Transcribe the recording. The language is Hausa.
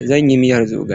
Zan yi miyar zogale.